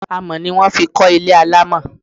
Amọ̀ ni wón fi kọ́ ilé alámọ̀.